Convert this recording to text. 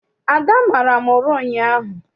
Ada mara m ụra ụnyaahụ.